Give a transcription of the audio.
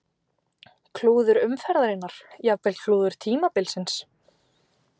Klúður umferðarinnar: Jafnvel klúður tímabilsins?